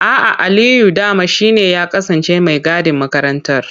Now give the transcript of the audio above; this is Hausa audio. A'a, Aliyu dama shi ne ya kasance mai gadin makarantar.